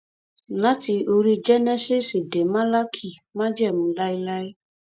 láti orí jẹnẹsíìsì dé málákì májẹmú láéláé